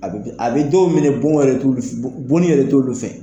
A bɛ kɛ a bɛ dɔw minɛ bɔn yɛrɛ t'ul f bon bonni yɛrɛ t'olu fɛ.